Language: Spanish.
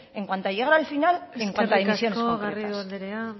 en cuando a llegar al final y en cuanto situaciones concretas eskerrik asko garrido andrea